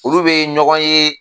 Olu bɛ ɲɔgɔn ye